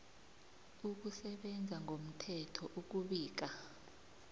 ukusebenza ngomthetho ukubika